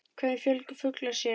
Hvernig fjölga fuglar sér.